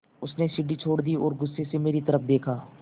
उसने सीढ़ी छोड़ दी और गुस्से से मेरी तरफ़ देखा